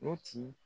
Mɔti